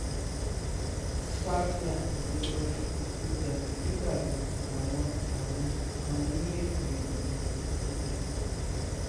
faith adébọ́lá ètò jàgídíjàgan làwọn làwọn kan ní ètò ìjàngbọ̀n ètò ṣùrùtù